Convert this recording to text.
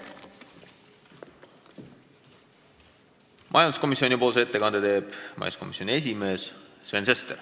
Majanduskomisjoni ettekande teeb majanduskomisjoni esimees Sven Sester.